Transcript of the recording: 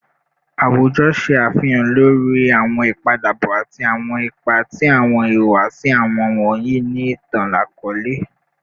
Awujọ ṣe afihan lori awọn ipadabọ ati awọn ipa ti awọn ihuwasi awujọ wọnyi ni itan-akọọlẹ